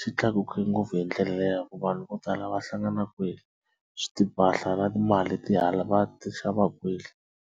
xi tlakuke ngopfu hi ndlela le ya ku vanhu vo tala va hlangana kwele swi na timali ti hala va ti xava kwele.